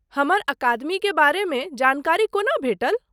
हमर अकादमीके बारेमे जानकारी कोना भेटल?